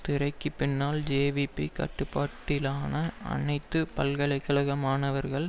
திரைக்கு பின்னால் ஜேவிபி கட்டுப்பாட்டிலான அனைத்து பல்கலை கழக மாணவர்கள்